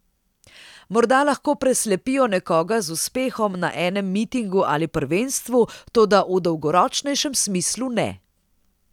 Morda lahko preslepijo nekoga z uspehom na enem mitingu ali prvenstvu, toda v dolgoročnejšem smislu ne.